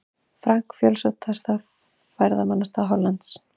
Frank, fjölsóttasta ferðamannastað Hollands.